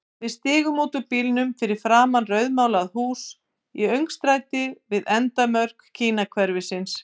Við stigum út úr bílnum fyrir framan rauðmálað hús í öngstræti við endamörk Kínahverfisins.